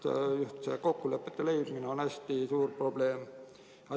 Ja just see kokkulepete sõlmimine on hästi suur probleem.